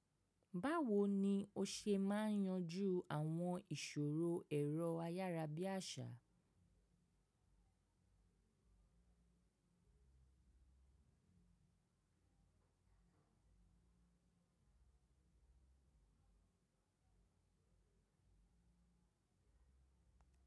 Báwo ni o ṣe máa yanjú àwọn ìṣòro ẹ̀rọ ayárabíàṣá?